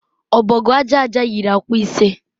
Ọbọgwụ aja aja yiri akwa ise.